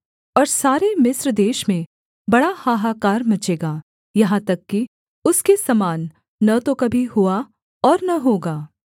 और सारे मिस्र देश में बड़ा हाहाकार मचेगा यहाँ तक कि उसके समान न तो कभी हुआ और न होगा